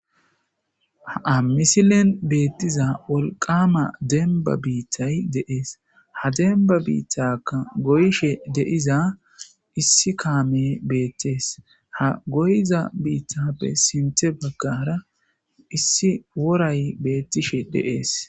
hamisilen beettiza wolqama denba biittay de'ees ha demba biittakka goyishe de'iza issi kaame beettees ha goyza biittappe sinte baggara issi woray beettishe de'ees